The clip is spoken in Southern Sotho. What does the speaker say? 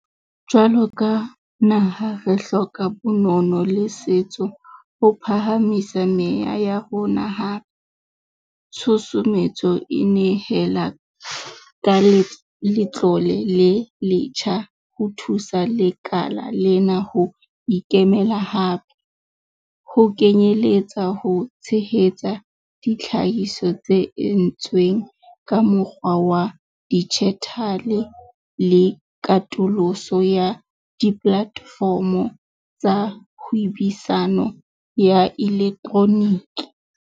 Jwalo ka naha, re hloka bonono le setso ho phahamisa meya ya rona hape - tshusumetso e nehela ka letlole le letjha ho thusa lekala lena ho ikemela hape, ho kenyeletsa ho tshehetsa ditlhahiso tse entsweng ka mokgwa wa dijithale le katoloso ya dipolatefomo tsa hwebisano ya elektroniki.